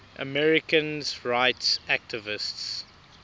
americans rights activists